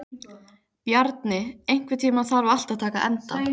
Bjarni, einhvern tímann þarf allt að taka enda.